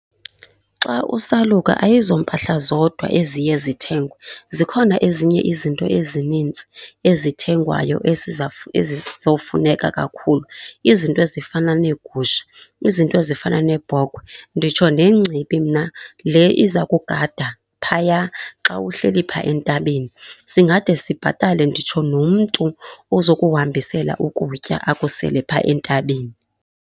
Xa usaluka ayizompahla zodwa eziye zithengwe, zikhona ezinye izinto ezinintsi ezithengwayo ezizowufuneka kakhulu. Izinto ezifana neegusha, izinto ezifana nebhokhwe. Nditsho nengcibi mna le iza kugada phaya xa uhleli phaa entabeni. Singade sibhatale nditsho nomntu ozokuhambisela ukutya akusele phaa entabeni.